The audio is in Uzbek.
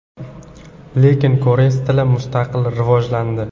Lekin koreys tili mustaqil rivojlandi.